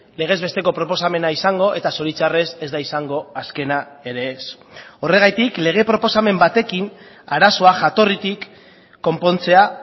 legez besteko proposamena izango eta zoritxarrez ez da izango azkena ere ez horregatik lege proposamen batekin arazoa jatorritik konpontzea